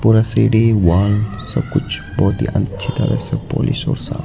और सीढ़ी वॉल सब कुछ बहोत ही अच्छी तरह से पॉलिश और साफ --